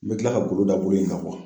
N bɛ kila ka golo da buru in kan